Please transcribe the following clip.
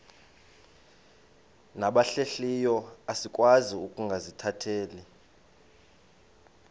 nabahlehliyo asikwazi ukungazikhathaieli